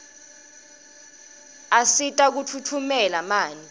asita kufutfumeta manti